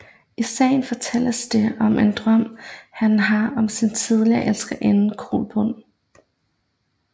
I sagaen fortælles det om en drøm han har om sin tidligere elskerinde Kolbrun